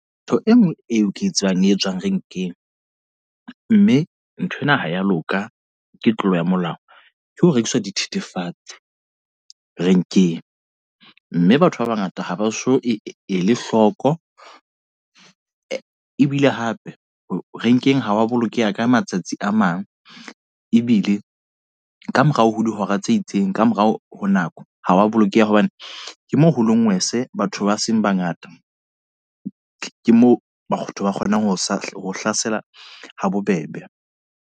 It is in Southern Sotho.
Ntho e nngwe eo ke e tsebang e tswang renkeng. Mme nthwena ha ya loka, ke tlolo ya molao. Ke ho rekiswa dithethefatse renkeng. Mme batho ba bangata ha ba so e le hloko. Ebile hape renkeng ha wa bolokeha ka matsatsi a mang. Ebile ka morao ho dihora tse itseng, ka morao ho nako. Ha wa bolokeha hobane ke moo ho le ngwese batho ba seng ba ngata. Ke moo ba kgonang ho sa hlasela ha bobebe.